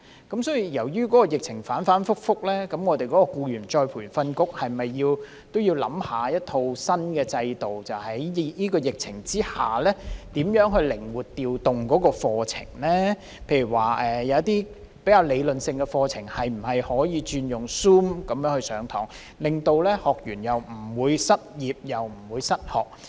鑒於疫情反覆，僱員再培訓局是否也要探討一套新的制度，在疫情之下靈活調動課程，例如一些比較理論性的課程可否改用 Zoom 上課，令到學員既不會失業，亦不會失學。